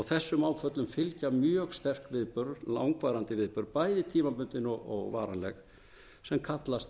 þessum áföllum fylgja mjög sterk viðbrögð langvarandi viðbrögð bæði tímabundin og varanleg sem kallast